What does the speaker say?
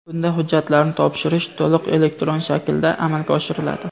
bunda hujjatlarni topshirish to‘liq elektron shaklda amalga oshiriladi.